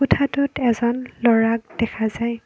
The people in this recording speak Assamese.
কোঠাটোত এজন ল'ৰাক দেখা যায়।